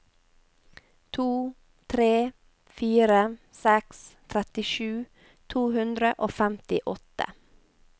to tre fire seks trettisju to hundre og femtiåtte